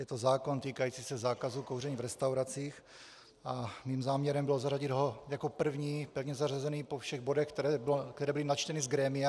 Je to zákon týkající se zákazu kouření v restauracích a mým záměrem bylo zařadit ho jako první pevně zařazený po všech bodech, které byly načteny z grémia.